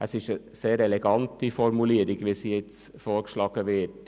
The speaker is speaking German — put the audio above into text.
Die vorgeschlagene Änderung ist sehr elegant.